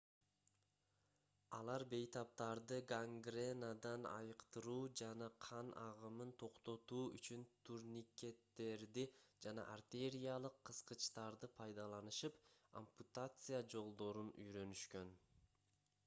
алар бейтаптарды гангренадан айыктыруу жана кан агымын токтотуу үчүн турникеттерди жана артериялык кыскычтарды пайдаланышып ампутация жолдорун үйрөнүшкөн